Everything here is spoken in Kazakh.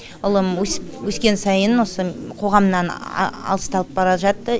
ұлым өс өскен сайын осы қоғамнан алыстап бара жатты